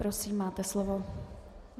Prosím, máte slovo.